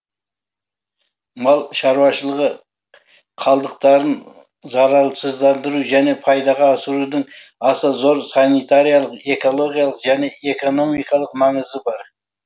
мал шаруашылығы қалдықтарын залалсыздандыру және пайдаға асырудың аса зор санитариялық экологиялық және экономикалық маңызы бар